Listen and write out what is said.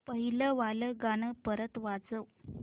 पहिलं वालं गाणं परत वाजव